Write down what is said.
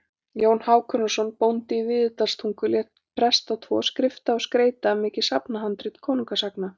Jón Hákonarson bóndi í Víðidalstungu lét presta tvo skrifa og skreyta mikið safnhandrit konungasagna.